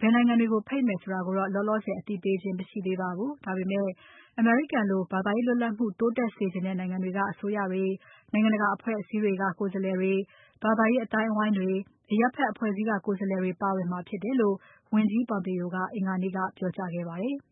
ဘယ်နိုင်ငံတွေကို ဖိတ်မယ်ဆိုတာကိုတော့ လောလောဆယ် အသိပေးခြင်းမရှိသေးပါဘူး။ ဒါပေမဲ့ အမေရိကန်လို ဘာသာရေးလွတ်လပ်မှု တိုးတက်စေချင်တဲ့ နိုင်ငံတွေက အစိုးရတွေ၊နိုင်ငံတကာအဖွဲ့အစည်းတွေက ကိုယ်စားလှယ်တွေ၊ ဘာသာရေးအသိုင်းအဝိုင်းတွေ၊ အရပ်ဖက်အဖွဲ့အစည်းက ကိုယ်စားလှယ်တွေ ပါဝင်မှာဖြစ်တယ်လို့ ဝန်ကြီး Pompeo က အင်္ဂါနေ့က ပြောကြားခဲ့ပါတယ်။